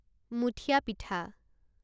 মুঠীয়া পিঠা